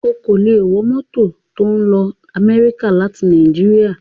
O kò lè wọ mọ́tò lọ Amẹ́ríkà láti Nàìjíríà